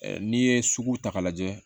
N'i ye sugu ta k'a lajɛ